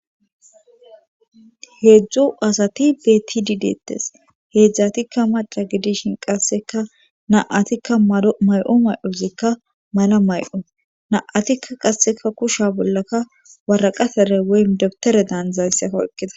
Heedzdzu asati betidi deettes heedzdzatikka maca gidishin qasseka naatikka may7o may7ozikka mala may7o na7atikka qasseka kusha bollaka waraqatere wey deptere daanzayssekka ekkida